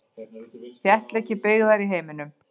Þéttleiki byggðar í heiminum.